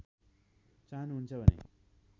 चाहनुहुन्छ भने